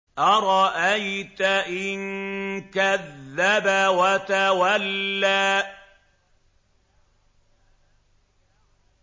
أَرَأَيْتَ إِن كَذَّبَ وَتَوَلَّىٰ